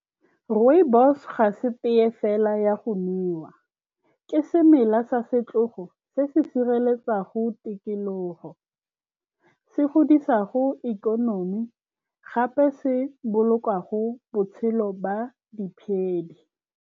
Rooibos-o ga se tea fela ya go nowa, ke semela sa setlogo se se sireletsang go tikologo, se godisang ikonomi, gape se bolokang botshelo jwa diphedi.